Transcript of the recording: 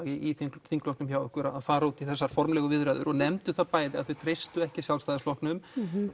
í þingflokknum hjá ykkur í dag að fara út í þessar formlegu viðræður og þau nefndu það bæði að þau treystu ekki Sjálfstæðisflokknum